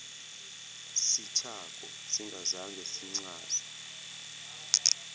sithako singazange sincazwe